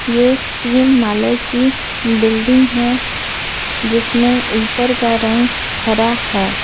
ये तीन माले की बिल्डिंग है जिसमें ऊपर का रंग हरा हैं ।